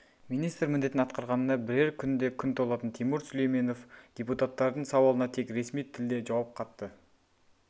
министр міндетін атқарғанына бірер күнде күн толатын тимур сүлейменов депутаттардың сауалына тек ресми тілде жауап қатты